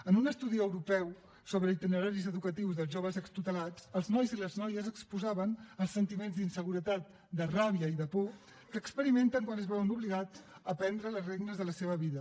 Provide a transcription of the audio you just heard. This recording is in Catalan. en un estudi europeu sobre itineraris educatius dels joves extutelats els nois i les noies exposaven els sentiments d’inseguretat de ràbia i de por que experimenten quan es veuen obligats a prendre les regnes de la seva vida